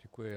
Děkuji.